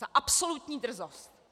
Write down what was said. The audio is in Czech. Za absolutní drzost.